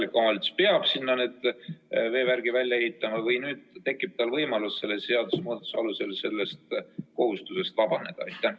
Kas kohalik omavalitsus peab sinna veevärgi välja ehitama või tekib tal nüüd võimalus selle seadusemuudatuse alusel sellest kohustusest vabaneda?